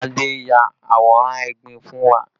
Adé ya àwòrán egbin fún wa